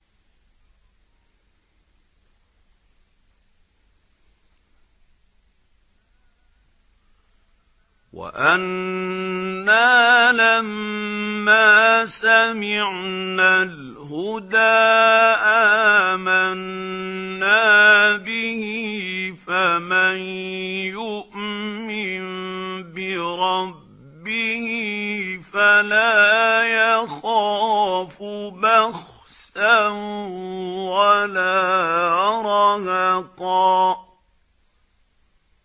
وَأَنَّا لَمَّا سَمِعْنَا الْهُدَىٰ آمَنَّا بِهِ ۖ فَمَن يُؤْمِن بِرَبِّهِ فَلَا يَخَافُ بَخْسًا وَلَا رَهَقًا